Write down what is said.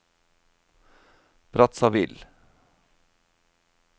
Brazzaville